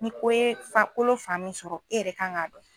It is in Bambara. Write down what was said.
Ni ko ye fan kolo fan min sɔrɔ e yɛrɛ kan ka dɔn.